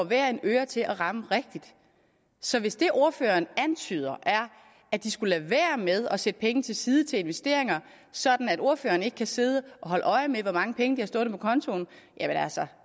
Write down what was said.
hver en øre til at ramme rigtigt så hvis det ordføreren antyder er at de skulle lade være med at sætte penge til side til investeringer sådan at ordføreren ikke kan sidde og holde øje med hvor mange penge de har stående på kontoen